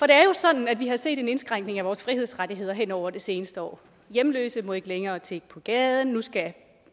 er jo sådan at vi har set en indskrænkning i vores frihedsrettigheder hen over det seneste år hjemløse må ikke længere tigge på gaden nu skal